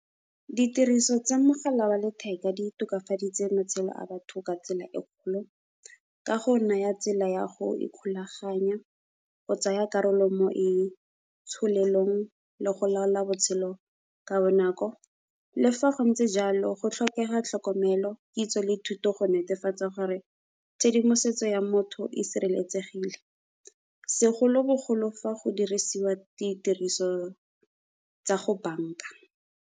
Ditiriso tsa mogala wa letheka di tokafaditse matshelo a batho ka tsela e kgolo, ka go naya tsela ya go ikgolaganya go tsaya karolo mo itsholelong le go laola botshelo ka bonako. Le fa go ntse jalo go tlhokega tlhokomelo, kitso le thuto go netefatsa gore tshedimosetso ya motho e sireletsegile segolobogolo fa go dirisiwa ditiriso tsa go bank-a.